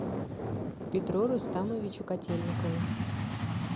петру рустамовичу котельникову